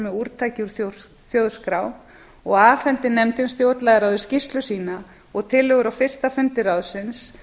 með úrtaki úr þjóðskrá og afhenti nefndin stjórnlagaráði skýrslu sína og tillögur á fyrsta fundi ráðsins